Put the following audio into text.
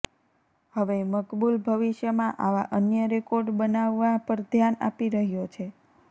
હવે મકબૂલ ભવિષ્યમાં આવા અન્ય રેકોર્ડ બનાવવા પર ધ્યાન આપી રહ્યો છે